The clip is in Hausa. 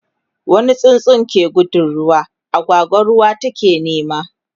wani tsuntsu ke gudun ruwa, agwagwa ruwan take nema